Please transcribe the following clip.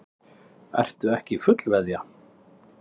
Ertu ekki fullveðja?